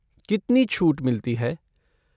कितनी छूट मिलती है?